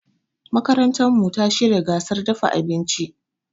Makarantarmu ta shirya gasar dafa abinci.